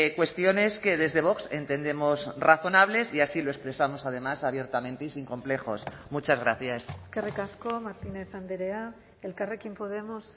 cuestiones que desde vox entendemos razonables y así lo expresamos además abiertamente y sin complejos muchas gracias eskerrik asko martínez andrea elkarrekin podemos